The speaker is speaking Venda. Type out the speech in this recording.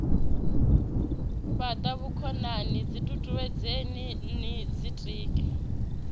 fhata vhukonani ditutuwedzeni no ditika